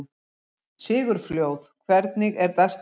Sigurfljóð, hvernig er dagskráin?